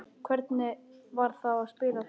Hvernig var þá að spila þarna núna?